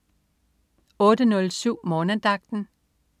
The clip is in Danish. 08.07 Morgenandagten